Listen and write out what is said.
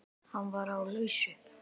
Hann er á lausu.